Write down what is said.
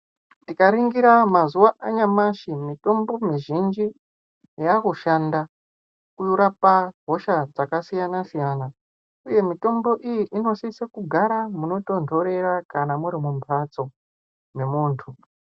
Tikaningira mazuva anyamashi mitombo mizhinji yava kushanda kurapa hosha dzakasiyana siyana uye mitombo iyi inosiso kugara panotondorera kana muti mubhatso memuntu.